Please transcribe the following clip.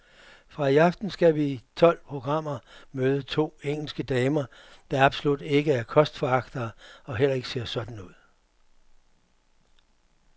Fra i aften skal vi i tolv programmer møde to engelske damer, der absolut ikke er kostforagtere og heller ikke ser sådan ud.